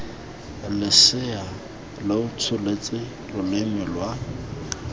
losea lo tsholetse loleme lwa